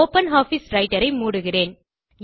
open office writer ஐ மூடுகிறேன்